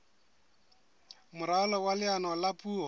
moralo wa leano la puo